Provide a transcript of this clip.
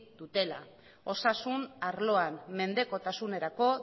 dutela osasun arloan mendekotasunerako